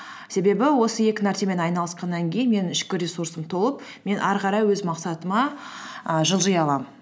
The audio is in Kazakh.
себебі осы екі нәрсемен айналысқаннан кейін менің ішкі ресурсым толып мен әрі қарай өз мақсатыма і жылжи аламын